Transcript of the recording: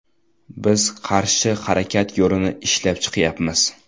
Biz qarshi harakat yo‘lini ishlab chiqyapmiz.